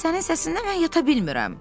Sənin səsindən mən yata bilmirəm.